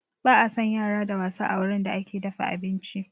Ba a san yara da wasa a wurin da ake dafa abinci